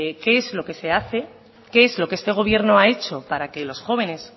qué es lo que se hace qué es lo que este gobierno ha hecho para que los jóvenes